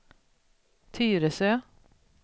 Tyresö